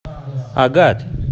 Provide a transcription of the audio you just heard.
агат